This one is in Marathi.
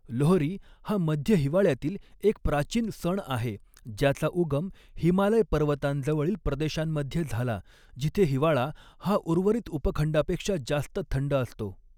लोहरी हा मध्य हिवाळ्यातील एक प्राचीन सण आहे ज्याचा उगम हिमालय पर्वतांजवळील प्रदेशांमध्ये झाला जिथे हिवाळा हा उर्वरित उपखंडापेक्षा जास्त थंड असतो.